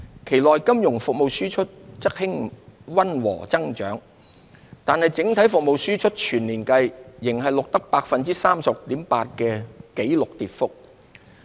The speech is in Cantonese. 期內金融服務輸出則溫和增長，但整體服務輸出全年計仍錄得 36.8% 的紀錄跌幅。